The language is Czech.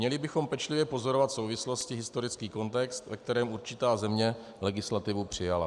Měli bychom pečlivě pozorovat souvislosti, historický kontext, ve kterém určitá země legislativu přijala.